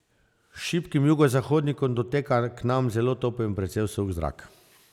S šibkim jugozahodnikom doteka k nam zelo topel in precej suh zrak.